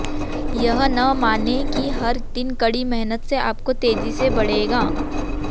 यह न मानें कि हर दिन कड़ी मेहनत से आपको तेजी से बढ़ेगा